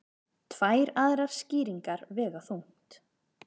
Tvær aðrar skýringar vega þungt